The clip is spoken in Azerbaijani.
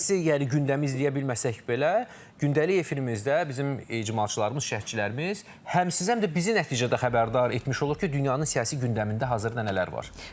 yəni gündəmi izləyə bilməsək belə, gündəlik efirimizdə bizim icmalçılarımız, şərhçilərimiz həm sizə, həm də bizi nəticədə xəbərdar etmiş olur ki, dünyanın siyasi gündəmində hazırda nələr var?